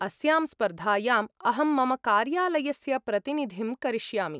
अस्यां स्पर्धायाम् अहं मम कार्यालयस्य प्रतिनिधिं करिष्यामि।